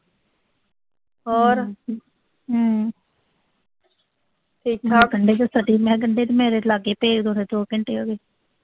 ਮੈਂ ਕਿਆ ਗੰਢੇ ਤਾਂ ਮੇਰੇ ਲਾਗੇ ਭੇਜ ਦੋ ਦੋ ਘੰਟੇ ਹੋਗੇ।